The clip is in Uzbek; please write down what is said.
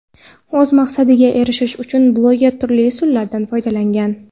O‘z maqsadiga erishish uchun bloger turli usullardan foydalangan.